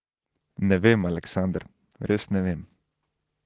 Ne vem, Aleksander, res ne vem.